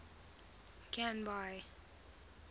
canby